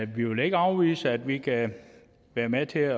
vi vil ikke afvise at vi kan være med til